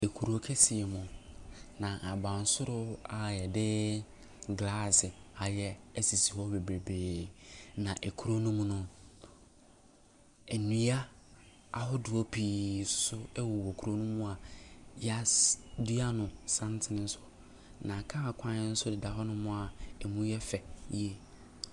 Ekuro kɛseɛ mu, na abansoro a yɛde glass ayɛ esisi hɔ bebreebee. Na ekuro no mu no nnua ahodoɔ pii ɛnsoso ɛwowɔ kuro no mu a yɛa sii dua no santene so. Na car kwan nso deda hɔ nom a emu yɛ fɛ yie.